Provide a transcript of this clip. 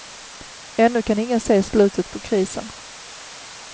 Ännu kan ingen se slutet på krisen.